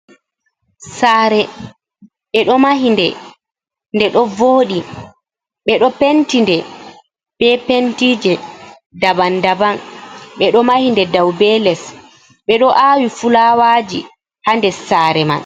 Sare eɗo mahinde nde ɗo voɗi, ɓe ɗo penti nde be pentije daban daban, ɓe ɗo mahi nde dau be les, ɓe ɗo aawi fulawaji ha dessare man.